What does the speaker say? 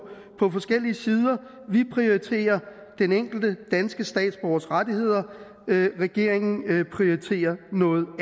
forskellige sider vi prioriterer den enkelte danske statsborgers rettigheder regeringen prioriterer noget